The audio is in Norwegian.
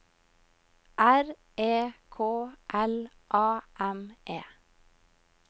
R E K L A M E